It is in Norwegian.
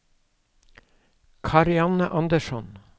Karianne Andersson